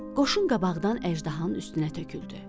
Qoşun qabaqdan əjdahanın üstünə töküldü.